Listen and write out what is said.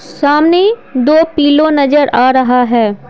सामने दो पीलो नजर आ रहा है।